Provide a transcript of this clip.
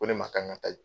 Ko ne ma k'an ka taa yen